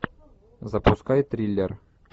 запускай триллер